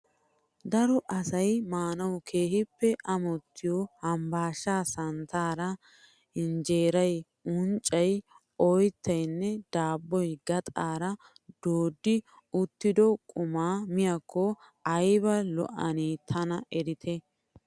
Daro asay maanawu keehippe amottiyo habasha santtaara hinjjeeray, unccay, oyttayinne daabboy gaxaara dooddi uttido qumaa miyakko ayba lo"anee tana eretii!